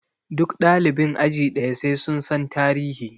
Duk ɗalibin aji ɗaya sai sun san tarihi!